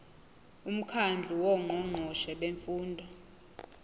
umkhandlu wongqongqoshe bemfundo